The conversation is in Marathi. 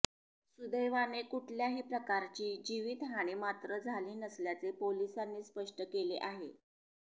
सुदैवाने कुठल्याही प्रकारची जीवितहानी मात्र झाली नसल्याचे पोलिसांनी स्पष्ट केले आहे